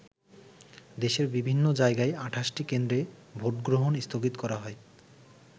দেশের বিভিন্ন জায়গায় ২৮টি কেন্দ্রে ভোটগ্রহণ স্থগিত করা হয়।